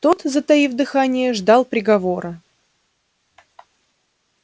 тот затаив дыхание ждал приговора